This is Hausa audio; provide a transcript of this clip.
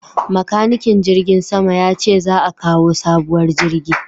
Makanikin jirgin sama ya ce za a kawo sabuwar jirgi